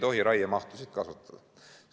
Seda, et me ei tohi raiemahtusid kasvatada.